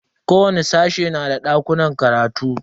Kowani sashe na da dakunan karatu.